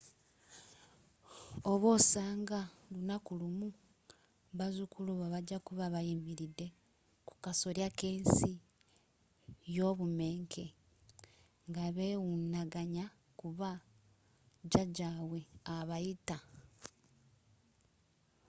oba osanga lunaku lumu, bazzukulu bo bajja kuba bayimiridde kukasolya kensi yobumenke ngabewunaganya kuba jjajabwe abayita?